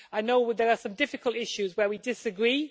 I know there are some difficult issues where we disagree.